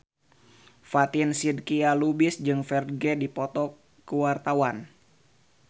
Fatin Shidqia Lubis jeung Ferdge keur dipoto ku wartawan